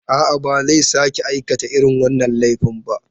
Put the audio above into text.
A'a, ba zai sake aikata irin wannan laifin ba.